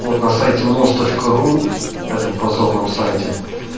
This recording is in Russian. вот на сайте мос точка ру этом позорном сайте